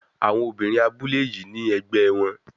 Àwọn obìnrin abúlé yìí ní ẹgbẹ́ wọn.